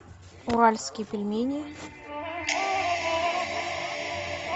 уральские пельмени